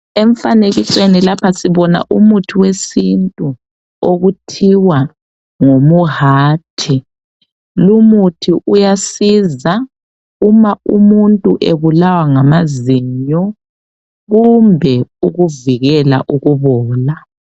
Emfanekisweni lapha sibona umuthi wesintu okuthiwa ngumuhati lumuthi uyasiza uma umuntu ebulawa ngamazinyo kumbe ukuvikela ukubola.